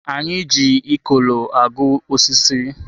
A na-eji Ikolo agụ osisi.